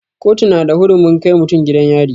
Kotu na da hurumin kai mutum gidan yari.